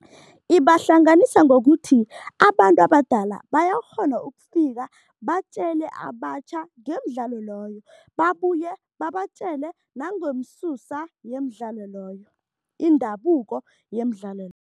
Ibahlanganisa ngokuthi abantu abadala bayakghona ukufika batjele abatjha ngemidlalo loyo babuye babatjele nangomsusa yemidlalo loyo, indabuko yemidlalo